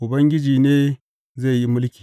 Ubangiji ne zai yi mulki.